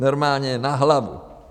Normálně na hlavu.